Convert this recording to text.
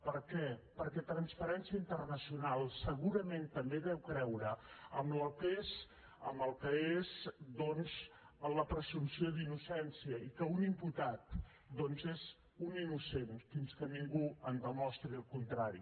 per què perquè transparència internacional segurament també deu creure en el que és doncs la presumpció d’innocència i que un imputat és un innocent fins que ningú en demostri el contrari